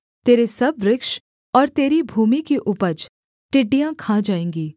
तेरे सब वृक्ष और तेरी भूमि की उपज टिड्डियाँ खा जाएँगी